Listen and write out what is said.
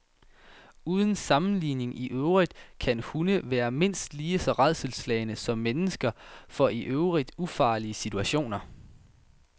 Uden sammenligning i øvrigt kan hunde være mindst lige så rædselsslagne som mennesker for i øvrigt ufarlige situationer.